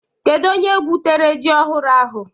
Kedu onye gwutere ji ọhụrụ ahụ?